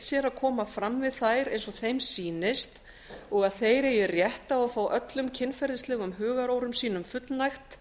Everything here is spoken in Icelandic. sér að koma fram við þær eins og þeim sýnist og að þeir eigi rétt á að fá öllum kynferðislegum hugarórum sínum fullnægt